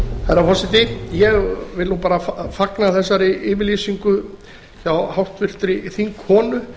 herra forseti ég vil bara fagna þessari yfirlýsingu hjá háttvirtum þingkonu